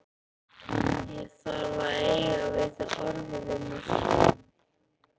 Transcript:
Ég þarf að eiga við þig orð, vinur.